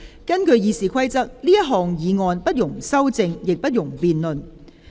根據《議事規則》，這項議案不容修正，亦不容辯論。